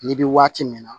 Ni bi waati min na